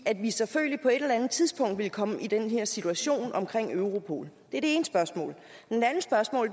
at vi selvfølgelig på et eller andet tidspunkt ville komme i den her situation omkring europol det er det ene spørgsmål